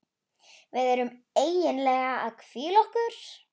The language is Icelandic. Við erum eiginlega að hvíla okkur.